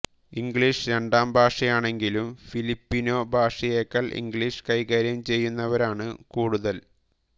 English രണ്ടാം ഭാഷയാണെങ്കിലും Filipino ഭാഷയേക്കാൾ ഇംഗ്ലിഷ് കൈകാര്യം ചെയ്യുന്നവരാണു കൂടുതൽ